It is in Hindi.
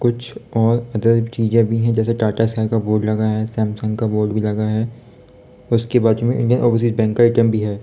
कुछ और अदर चीजें भी हैं जैसे टाटा स्काई का बोर्ड लगा हैं सैमसंग का बोर्ड भी लगा हैं उसके बाजु में इंडियन ओवरसीज बैंक का ऐ टी एम भी हैं।